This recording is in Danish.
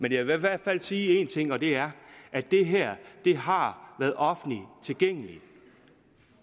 men jeg vil i hvert fald sige en ting og det er at det her har været offentligt tilgængeligt